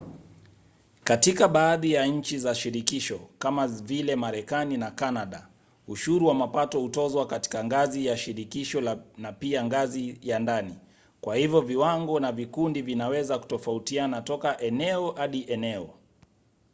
katika baadhi ya nchi za shirikisho kama vile marekani na kanada ushuru wa mapato hutozwa katika ngazi ya shirikisho na pia ngazi ya ndani kwa hivyo viwango na vikundi vinaweza kutofautiana toka eneo hadi eneo